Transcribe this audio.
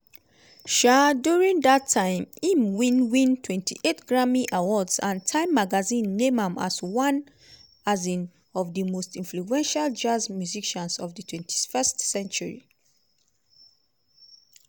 um during dat time im win win 28 grammy awards and time magazine name am as one um of di most influential jazz musicians of di 20th century.